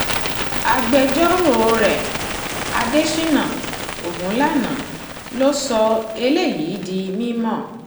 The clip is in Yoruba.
agbẹjọ́rò rẹ̀ adèsínà ogunlànà ló sọ eléyìí di mímọ́